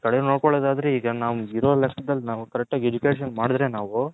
ಒಂದು ಕಡೆ ನೋಡ್ಕೊಲ್ಲದ್ ಆದ್ರೆ ಈಗ ನಮ್ಮಗೆ ಇರೋ ಲೆಕ್ಕದಲ್ಲಿ Correct ಆಗಿ Education ಮಾಡದ್ರೆ ನಾವು